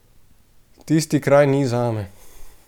Tisti kraj ni zame.